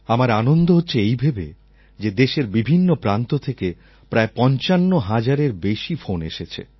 আমার আনন্দ হচ্ছে এই ভেবে যে দেশের বিভিন্ন প্রান্ত থেকে প্রায় পঞ্চান্ন হাজারের বেশি ফোন এসেছে